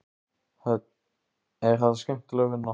Hödd: Er þetta skemmtileg vinna?